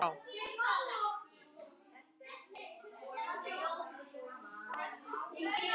Séra Sigurður var einn harðasti andstæðingur landshöfðingja og náinn samverkamaður Skúla í tæpa tvo áratugi.